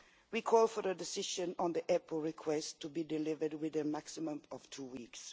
We call for a decision on the EPO request to be delivered within a maximum of two weeks